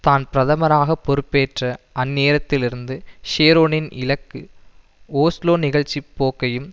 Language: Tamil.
தான் பிரதமராக பொறுப்பேற்ற அந்நேரத்திலிருந்து ஷெரோனின் இலக்கு ஒஸ்லோ நிகழ்ச்சி போக்கையும்